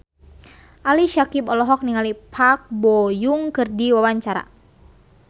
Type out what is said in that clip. Ali Syakieb olohok ningali Park Bo Yung keur diwawancara